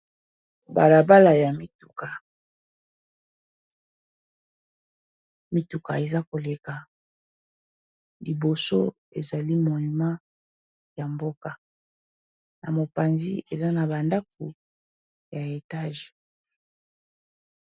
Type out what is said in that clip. Balabala ya mituka, mituka eza koleka. Liboso, ezali monuma ya mboka. Na mopanzi, eza na bandako ya etage.